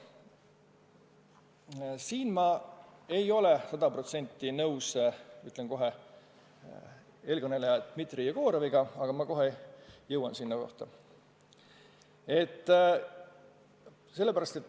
Ütlen ette, et siin ma ei ole sada protsenti nõus eelkõneleja Dmitri Jegoroviga, aga ma kohe jõuan selleni.